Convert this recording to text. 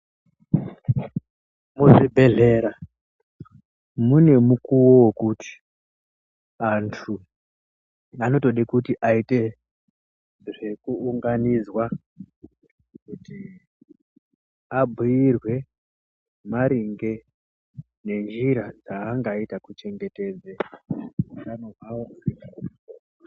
Muzvibhendlera mune mukuwo wekuti antu vanotoda kuti aite zvekuunganidzwa kuti abhiirwe maringe nenjira dzaangaita kuchengetedza utano hwavo